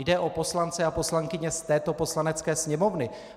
Jde o poslance a poslankyně z této Poslanecké sněmovny.